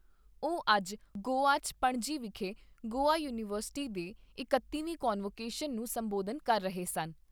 ਉਹ ਅੱਜ ਗੋਆ 'ਚ ਪਣਜੀ ਵਿਖੇ ਗੋਆ ਯੂਨੀਵਰਸਿਟੀ ਦੇ ਇਕੱਤੀਵੀਂ ਕਨਵੋਕੇਸ਼ਨ ਨੂੰ ਸੰਬੋਧਨ ਕਰ ਰਹੇ ਸਨ।